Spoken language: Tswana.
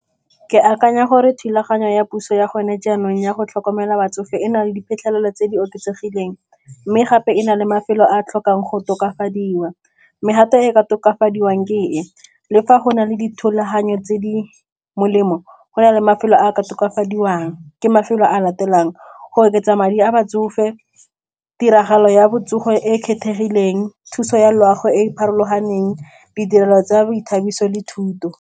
Ke akanya gore thulaganyo ya puso ya gone jaanong ya go tlhokomela batsofe e na le diphitlhelelo tse di oketsegileng, mme gape e na le mafelo a a tlhokang go tokafadiwa mme gap e ka tokafadiwang ke e, le fa go na le dithulaganyo tse di molemo go na le mafelo a a ka tokafadiwang ke mafelo a latelang go oketsa madi a batsofe, tiragalo ya botsogo e e kgethegileng, thuso ya loago e e farologaneng, ditirelo tsa boithabiso le thuto.